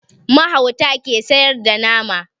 Mahauta ke sayar da nama